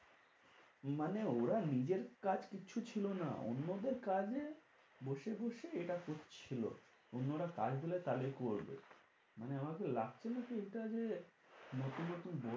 মানে ওরা নিজের কাজ কিচ্ছু ছিল না। অন্যদের কাজে বসে বসে এটা করছিলো। অন্যরা কাজ দিলে তাহলে করবে। মানে আমাদের এটা যে নতুন নতুন